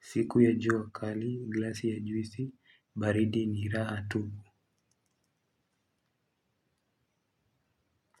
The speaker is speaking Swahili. Siku ya jua kali, glasi ya juisi, baridi ni raha tupu.